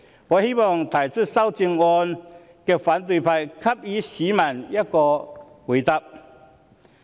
我希望提出修正案的反對派給予市民答覆。